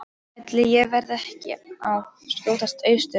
Ætli ég verði ekki að skjótast austur aftur.